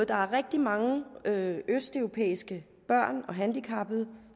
der er rigtig mange østeuropæiske børn og handicappede